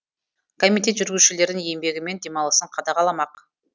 комитет жүргізушілердің еңбегі мен демалысын қадағаламақ